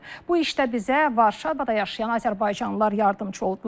Bu işdə bizə Varşavada yaşayan azərbaycanlılar yardımçı oldular.